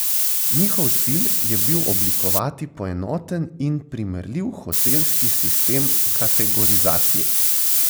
Njihov cilj je bil oblikovati poenoten in primerljiv hotelski sistem kategorizacije.